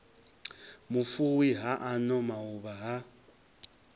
vhufuwi ha ano mauvha ha